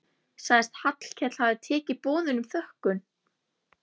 Sagðist Hallkell hafa tekið boðinu með þökkum.